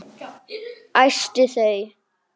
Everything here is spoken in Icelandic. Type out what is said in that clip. Æsti þau.